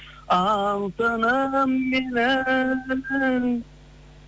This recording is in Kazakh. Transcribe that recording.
алтыным менің